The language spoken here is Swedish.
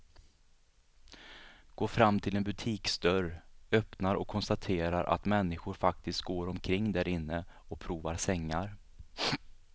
Går fram till en butiksdörr, öppnar och konstaterar att människor faktiskt går omkring därinne och provar sängar.